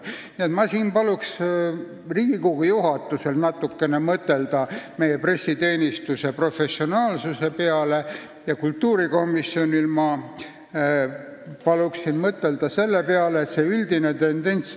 Nii et ma paluksin Riigikogu juhatusel mõtelda meie pressiteenistuse professionaalsuse peale ja kultuurikomisjonil ma paluksin mõtelda selle peale, et see üldine tendents ...